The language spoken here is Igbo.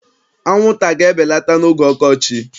Anwụnta ga-ebelata n'oge ọkọchị.